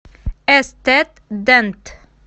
эстет дент